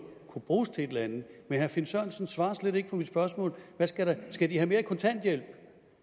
kunne bruges til et eller andet men herre finn sørensen svarer slet ikke på mit spørgsmål skal de have mere i kontanthjælp